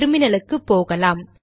டெர்மினலுக்கு போகலாம்